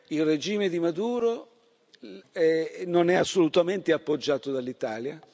Il regime di Maduro non è assolutamente appoggiato dall'Italia.